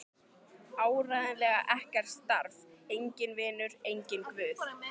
Áreiðanlega ekkert starf, enginn vinur, enginn guð.